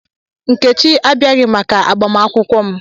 Nkechi abịaghị maka agbamakwụkwọ m.